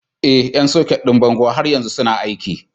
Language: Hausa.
Ee, ƴan soket ɗin bango har yanzu suna aiki.